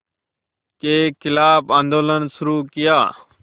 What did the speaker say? के ख़िलाफ़ आंदोलन शुरू किया